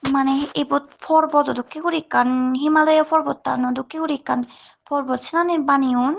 manehe ebot porbotdw dokkin gori ekkan himalaya parvatano dokkin gori ekkan parvat sinari baneyoun.